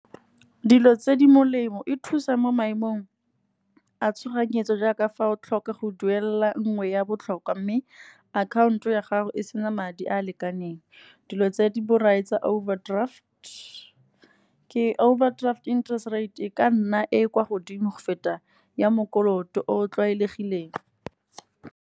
Dilo tse di molemo e thusa mo maemong a tshoganyetso jaaka fa o tlhoka go duelela nngwe ya botlhokwa, mme akhaonto ya gago e sena madi a a lekaneng. Dilo tse di borai tsa overdraft ke overdraft interest rate, e ka nna e e kwa godimo go feta ya mokoloto o o tlwaelegileng.